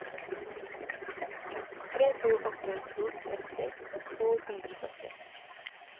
tre to åtte to tretti to hundre og sytti